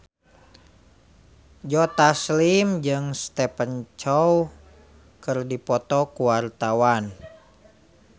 Joe Taslim jeung Stephen Chow keur dipoto ku wartawan